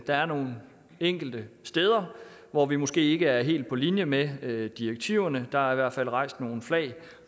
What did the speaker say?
der er nogle enkelte steder hvor vi måske ikke er helt på linje med med direktiverne der er i hvert fald rejst nogle flag